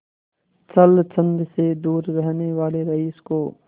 छल छंद से दूर रहने वाले रईस को